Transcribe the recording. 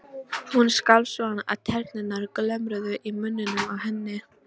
Hún skalf svo að tennurnar glömruðu í munninum á henni.